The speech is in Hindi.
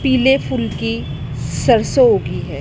पीले फूल की सरसों उगी है।